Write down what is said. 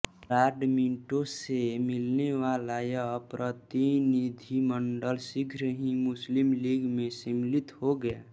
Lord Minto से मिलने वाला यह प्रतिनिधिमंडल शीघ्र ही मुस्लिम लीग में सम्मिलित हो गया